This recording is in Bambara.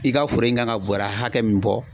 I ka foro in kan ka bɔɔrɛ hakɛ min bɔ